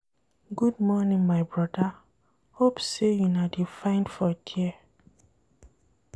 Good morning my broda, hope sey una dey fine for there.